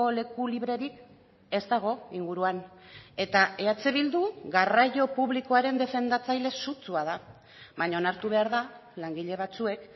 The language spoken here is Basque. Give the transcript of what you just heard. leku librerik ez dago inguruan eta eh bildu garraio publikoaren defendatzaile sutsua da baina onartu behar da langile batzuek